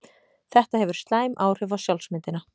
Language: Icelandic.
Þetta hefur slæm áhrif á sjálfsmyndina.